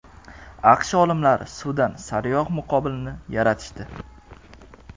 AQSh olimlari suvdan sariyog‘ muqobilini yaratishdi.